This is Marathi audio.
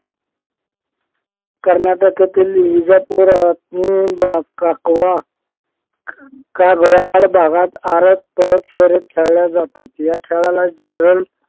कर्नाटक येथील विजापूर काकवा का ग याड भागात आरत परत शर्यत खेळल्या जातात या खेळाला जनरल